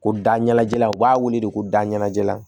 Ko da ɲɛnajɛla u b'a wele de ko dalajɛ la